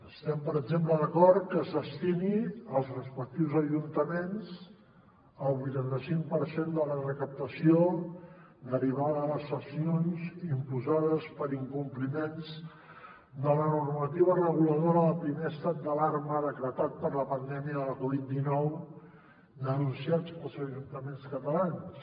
estem per exemple d’acord que es destini als respectius ajuntaments el vuitanta cinc per cent de la recaptació derivada de les sancions imposades per incompliments de la normativa reguladora del primer estat d’alarma decretat per la pandèmia de la covid dinou denunciada pels ajuntaments catalans